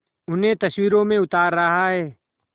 उन्हें तस्वीरों में उतार रहा है